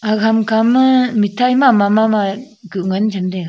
aga hamkha ma mitai mama mama kuh ngan chem taiga.